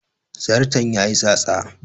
Zarton ya yi tsatsa